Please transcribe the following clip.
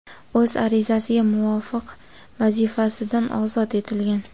o‘z arizasiga muvofiq vazifasidan ozod etilgan.